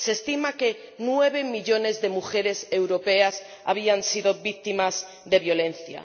Se estima que nueve millones de mujeres europeas habían sido víctimas de violencia.